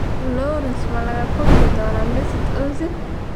Lawrence ma la kulmi doonaa Mesut Ozil?